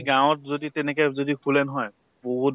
গাওঁত যদি তেনেকে যদি খোলে নহয়, বহুত